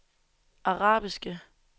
arabiske